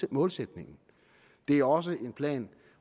målsætningen det er også en plan